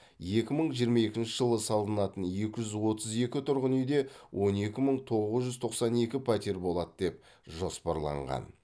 екі мың жиырма екінші жылы салынатын екі жүз отыз екі тұрғын үйде он екі мың тоғыз жүз тоқсан екі пәтер болады деп жоспарланған